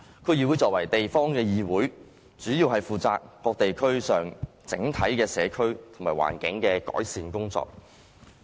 區議會作為地方議會，主要是負責各地區上整體的社區和環境改善工作。